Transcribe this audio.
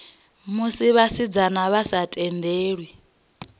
musi vhasidzana vha sa tendelwi